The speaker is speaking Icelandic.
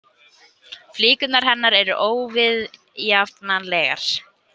Flíkurnar hennar eru óviðjafnanlegar.